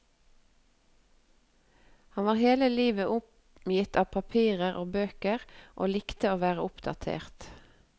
Han var hele livet omgitt av papirer og bøker og likte å være oppdatert.